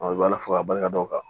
i b'a ala fo k'a barika da o kan